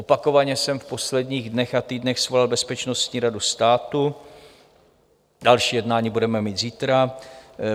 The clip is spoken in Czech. Opakovaně jsem v posledních dnech a týdnech svolal Bezpečnostní radu státu, další jednání budeme mít zítra.